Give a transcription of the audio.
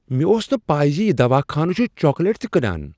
مےٚ اوس نہٕ پَے زِ یہ دواہ خانہ چھٗ چاکلیٹ تہ کٕنان۔